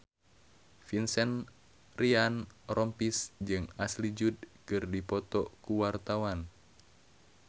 Vincent Ryan Rompies jeung Ashley Judd keur dipoto ku wartawan